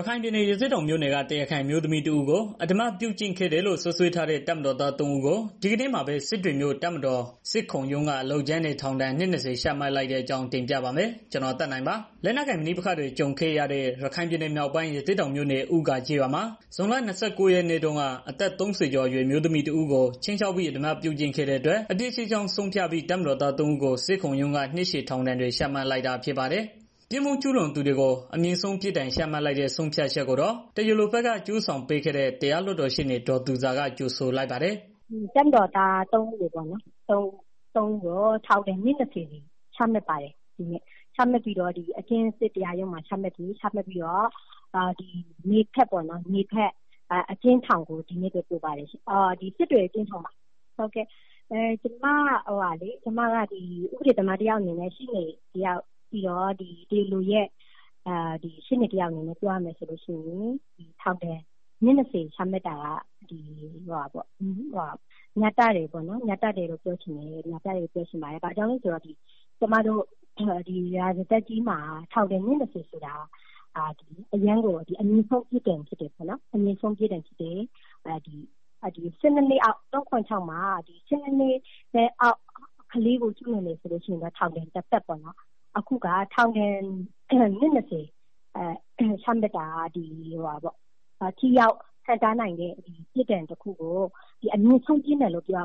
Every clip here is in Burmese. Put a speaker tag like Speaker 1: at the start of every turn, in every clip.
Speaker 1: ရခိုင်ပြည်နယ် ရသေ့တောင်မြို့နယ်က ဒေသခံ အမျိုးသမီးတစ်ဦးကို အဓမ္မပြုကျင့်ခဲ့တယ်လို့ စွပ်စွဲထားတဲ့ တပ်မတော်သား ၃ ဦးကို ဒီကနေ့မှာပဲ စစ်တွေမြို့ တပ်မတော်စစ်ခုံရုံးက အလုပ်ကြမ်းနဲ့ ထောင်ဒဏ် နှစ်၂၀ ချမှတ်လိုက်တဲ့အကြောင်းကို ဗွီအိုအေမြန်မာပိုင်း သတင်းထောက် ကိုသက်နိုင်က တင်ပြပေးပါမယ်။ လက်နက်ကိုင်ပဋိပက္ခတွေ ကြုံခဲ့ရတဲ့ ရခိုင်ပြည်နယ်မြောက်ပိုင်း ရသေ့တောင်မြို့နယ် ဦးဂါကျေးရွာမှာ ဇွန်လ ၂၉ ရက်နေ့တုန်းက အသက် ၃၀ ကျော်အရွယ် အမျိုးသမီးတစ်ဦးကို ခြိမ်းခြောက်ပြီး အဓမ္မပြုကျင့်ခဲ့တဲ့အတွက် အပြစ်ရှိကြောင်း ဆုံးဖြတ်ပြီး တပ်မတော်သား ၃ ဦးကို စစ်ခုံရုံးက နှစ်ရှည်ထောင်ဒဏ်တွေ ချမှတ်လိုက်တာ ဖြစ်ပါတယ်။ ပြစ်မှုကျူးလွန်သူတွေကို အမြင့်ဆုံးပြစ်ဒဏ် ချမှတ်လိုက်တဲ့ ဆုံးဖြတ်ချက်ကိုတော့ တရား လိုဘက်က အကျိုးဆောင်ပေးခဲ့တဲ့ တရားလွှတ်တော်ရှေ့နေ ဒေါ်သူဇာ က ကြိုဆိုလိုက် ပါတယ်
Speaker 2: ။ “ဒီနေ့မှာ တပ်မတော်သား သုံးဦးကိုပေါ့နော်။ ထောင်ဒဏ် နှစ် ၂၀ စီချမှတ်ပါတယ်။ တပ်မတော် စစ်တရားရုံးမှာ အမိန့်ချပြီးတော့ စစ်တွေ အကျဉ်းထောင်ကို ဒီနေ့ပဲ ပို့ပါတယ်။ ကျမကတော့ ဥပဒေသမားတစ်ယောက်၊ တရားလိုရဲ့ ရှေ့နေတစ်ယောက်အနေနဲ့ ပြောရမယ် ဆိုရင် ထောင်ဒဏ် နှစ် ၂၀ ချမှတ်တာက မျှတတယ်လို့ ပြောချင်ပါတယ်။ ဘာကြောင့်လဲဆိုတော့ ရာဇသတ်ကြီးမှာ ထောင်ဒဏ် နှစ် ၂၀ ဆိုတာ အမြင့်ဆုံးပေါ့နော်။ ၃၇၆ မှာ ၁၂ နှစ်အောက် ကလေးကို ကျုးလွန်တယ်ဆိုရင်တော့ ထောင်ဒဏ် တစ်သက်ပေါ့နော်။ အခုက ထောင်ဒဏ် နှစ် ၂၀ ချမှတ်တယ်ဆိုတာက ထိရောက် ဟန့်တားနိုင်တဲ့ ပြစ်ဒဏ်တစ်ခုကို အမြင့်ကို ပြစ်ဒဏ်တစ်ခုကို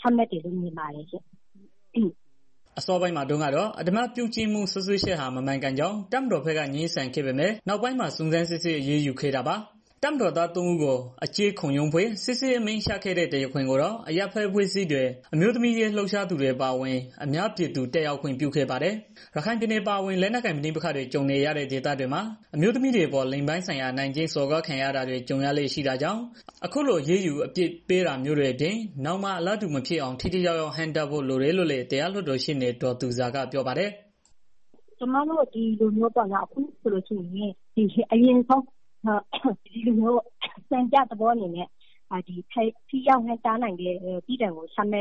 Speaker 2: ချမှတ်တယ်လို့ မြင်တယ်။
Speaker 1: ” အစောပိုင်းမှာတုန်းကတော့ အဓမ္မပြုကျင့်မှု စွပ်စွဲချက်ဟာ မမှန်ကန်ကြောင်း တပ်မတော်က ငြင်းဆန်ခဲ့ပေမဲ့ နောက်ပိုင်းမှာ စုံစမ်းစစ်ဆေး အရေးယူခဲ့တာပါ။ တပ်မတော်သား ၃ ဦးကို အကျဉ်းခုံရုံးဖွဲ့ စစ်ဆေးအမိန့်ချခဲ့တဲ့ တရားခွင်ကိုတော့ အရပ်ဘက်အဖွဲ့အစည်းတွေ အမျိုးသမီးရေး လှုပ်ရှားသူတွေ အပါအဝင် အများပြည်သူ တက်ရောက်ခွင့်ပြုခဲ့ပါတယ်။ ရခိုင်ပြည်နယ်အပါဝင် လက်နက်ကိုင်ပဋိပက္ခတွေ ကြုံနေရတဲ့ ဒေသတွေမှာ အမျိုးသမီးတွေအပေါ် လိင်ပိုင်းဆိုင်ရာ အနိုင်ကျင့် စော်ကားခံရတာတွေ ကြုံရလေ့ ရှိတာကြောင့် အခုလို အရေးယူအပြစ်ပေးတာမျိုးတွေအပြင် နောင်မှာ အလားတူမဖြစ်အောင် ထိထိရောက်ရောက် ဟန့်တားဖို့လိုတယ်လို့လည်း တရားလွှတ်တော်ရှေ့နေ ဒေါ်သူဇာ ကပြောပါတယ်။
Speaker 2: “အခုဆိုလို့ရှိရင် အရင်ဆုံး စံပြသဘောအနေနဲ့ ထိရောက်တဲ့ ပြစ်ဒဏ်ကို အမြ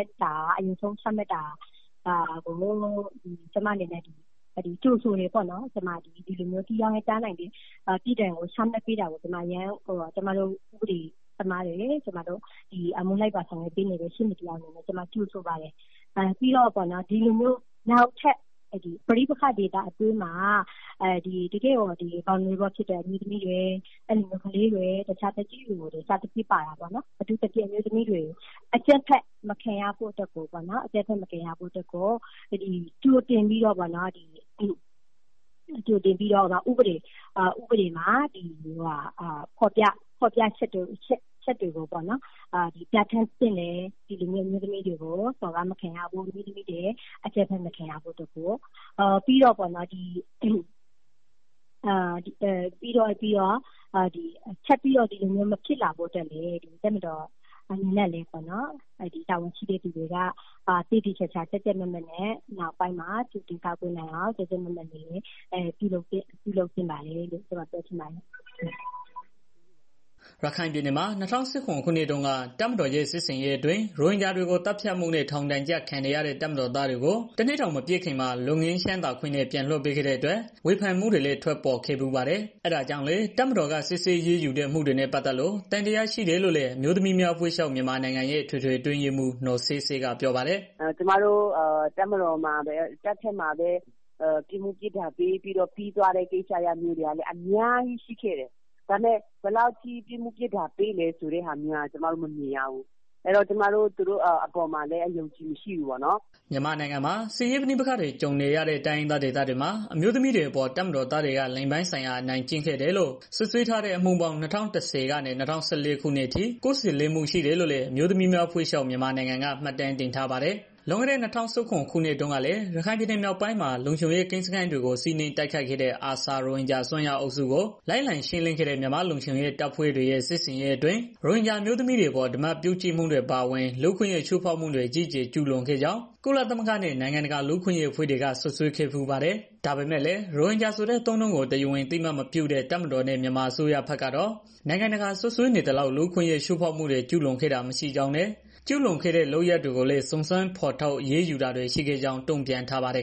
Speaker 2: င့်ဆုံး ချမှတ်တာကို ကျမအနေနဲ့ ကြိုဆိုတယ်ပေါ့နော်။ ပြီးတော့ နောက်ထပ် ပဋိပက္ခဒေသအတွင်းမှာ အမျိုးသမီးတွေ၊ ကလေးတွေ၊ တစ်ခြားသက်ကြီးရွယ်အိုတွေလည်း ပါတာပေါ့။ အထူးသဖြင့် အမျိုးသမီးတွေ အကြမ်းဖက် မခံရဖို့အတွက်ကို ကြိုတင်ပြီးတော့ ဥပဒေမှာ ဖော်ပြချက်တွေကို ပြဌာန်းသင့်တယ်။ အမျိုးသမီးတွေ စော်ကားမခံရဖို့၊ အကြမ်းဖက်မခံရဖို့ ပြီးတော့ ထပ်ပြီးတော့ ဒီလိုမျိုးမဖြစ်လာဖို့လည်း တပ်မတော်အနေနဲ့ တာဝန်ရှိသူတွေအနေနဲ့ နောက်ပိုင်း သေသေချာချာပြုလုပ်သင့်ပါတယ်လို့ ကျမအနေနဲ့ ပ
Speaker 1: ြောချင်ပါတယ်။” ရခိုင်ပြည်နယ်မှာ ၂၀၁၇ ခုနှစ်တုန်းက တပ်မတော်ရဲ့ စစ်ဆင်ရေးတွေအတွင်း ရိုဟင်ဂျာတွေကို သတ်ဖြတ်ခဲ့မှုနဲ့ ထောင်ဒဏ်ကျခံနေရတဲ့ တပ်မတော်သားတွေကို ၁ နှစ်တောင် မပြည့်ခင်မှာ လွတ်ငြိမ်းသက်သာခွင့်နဲ့ ပြန်လွှတ်ပေးခဲ့တဲ့အတွက် ဝေဖန်မှုတွေလည်း ထွက်ပေါ်ခဲ့ဖူးပါတယ်။ ဒါကြောင့်လည်း တပ်မတော်က စစ်ဆေးအရေးယူတဲ့ အမှုတွေနဲ့ ပတ်သက်လို့ သံသယရှိတယ်လို့လည်း အမျိုးသမီးများ အဖွဲ့ချုပ် ရဲ့ အထွေအထွေအတွင်းမှူး နော်ဆဲဆဲက ပြောပါတယ်
Speaker 2: ။ “တပ်မတော်မှာ၊ တပ်ဘက်မှာပဲ ပြစ်မှုပြစ်ဒဏ်ပေးပြီးတော့ ပြီးသွားတဲ့ အမှုတွေလည်း အများကြီးပေါ့နော်။ ဒါပေမဲ့ ဘယ်လောက်ထိ ပြစ်မှုပြစ်ဒဏ်ပေးလဲဆိုတာ ကျမတို့ မမြင်ရဘူး။ အဲဒီတော့ ကျမတို့ သူတို့အပေါ်မှာလည်း အယုံအကြည်မရှိဘူးပေါ့နော်။
Speaker 1: ” မြန်မာနိုင်ငံမှာ စစ်ရေးပဋိပက္ခတွေ ကြုံနေရတဲ့ တိုင်းရင်းသားဒေသတွေမှာ အမျိုးသမီးတွေအပေါ် တပ်မတော်သားတွေက လိင်ပိုင်းဆိုင်ရာ အနိုင်ကျင့်ခဲ့တယ်လို့ စွပ်စွဲထားတဲ့ အမှုပေါင်း ၂၀၁၀ ကနေ ၂၀၁၄ ခုနှစ် အထိ ၉၄ မှုရှိတယ်လို့လည်း အမျိုးသမီးများ အဖွဲ့ချုပ် က မှတ်တမ်းတင်ထားပါတယ်။ လွန်ခဲ့တဲ့ ၂၀၁၇ ခုနှစ်တုန်းကလည်း ရခိုင်ပြည်နယ် မြောက်ပိုင်းမှာ လုံခြုံရေးကင်းစခန်းတွေကို စီးနင်းတိုက်ခိုက်ခဲ့တဲ့ ARSA ရိုဟင်ဂျာ အစွန်းရောက်အုပ်စုကို လိုက်လံရှင်းလင်းခဲ့တဲ့ မြန်မာလုံခြုံရေး တပ်ဖွဲ့တွေရဲ့ စစ်ဆင်ရေး တွေအတွင်း ရိုဟင်ဂျာ အမျိုးသမီးတွေအပေါ် အဓမ္မပြုကျင့်မှုတွေ အပါအဝင် လူ့အခွင့်အရေး ချိုးဖောက်မှုတွေ အကြီးအကျယ် ကျုးလွန်ခဲ့ကြောင်း ကုလသမဂ္ဂနဲ့ နိုင်ငံတကာ လူ့အခွင့်အရေး အဖွဲ့တွေက စွပ်စွဲခဲ့ဖူးပါတယ်။ ဒါပေမဲ့လည်း ရိုဟင်ဂျာဆိုတဲ့ အသုံးအနှုန်းကို တရားဝင် အသိအမှတ်မပြုတဲ့ တပ်မတော်နဲ့ မြန်မာအစိုးရကတော့ နိုင်ငံတကာက စွပ်စွဲနေသလောက် လူ့အခွင့်အရေး ချိုးဖောက်မှုတွေ ကျုးလွန်ခဲ့တာ မရှိကြောင်းနဲ့ ကျုးလွန်ခဲ့တဲ့ လုပ်ရပ်တွေကိုလည်း စုံစမ်းဖော်ထုတ် အရေး ယူတာတွေ ရှိခဲ့ကြောင်း တုံ့ပြန်ထားပါတယ်